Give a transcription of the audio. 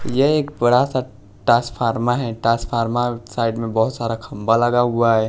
ये एक बड़ा सा टासफारमा है टासफारमा साइड में बहोत सारा खंबा लगा हुआ है।